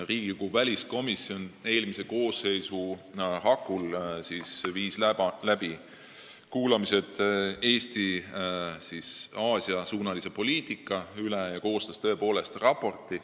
Riigikogu väliskomisjon viis eelmise koosseisu hakul läbi kuulamised Eesti Aasia-suunalise poliitika teemal ja koostas tõepoolest raporti.